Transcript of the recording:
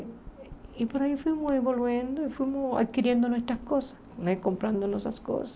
E por aí fomos evoluindo e fomos adquirindo muitas coisas, né comprando nossas coisas.